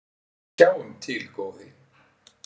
"""Sjáum til, góði."""